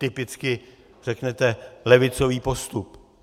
Typicky řeknete levicový postup.